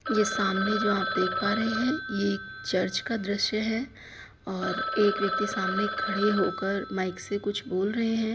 ये सामने जो आप देख पा रहे है ये एक चर्च का दृश्य है और एक व्यक्ति सामने खड़े होकर माइक से कुछ बोल रहे हैं।